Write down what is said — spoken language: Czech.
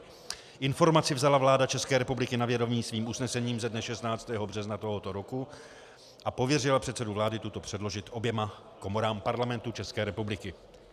Informaci vzala vláda České republiky na vědomí svým usnesením ze dne 16. března tohoto roku a pověřila předsedu vlády tuto předložit oběma komorám Parlamentu České republiky.